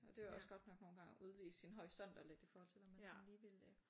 Og det var også godt nok nogen gange at udevide sin horisont og lidt i forhold til hvad man sådan lige ville øh